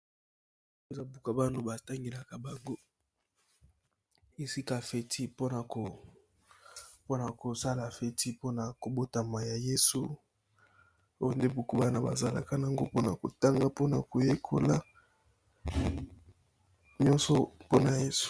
Eza buka bano batangelaka bango esika feti mpona kosala feti mpona kobotama ya yesu oyo nde buku bana bazalaka nango mpona kotanga mpona koyekola nyonso mpona yesu.